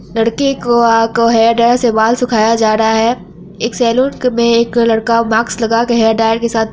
लड़के को hair dryer से बाल सुखाया जा रहा है| एक सेलून में एक लड़का मास्क लगा के हेयर ड्रायर के साथ--